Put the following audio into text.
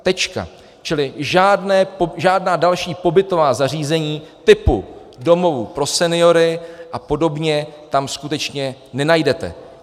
Čili žádná další pobytová zařízení typu domovů pro seniory a podobně tam skutečně nenajdete.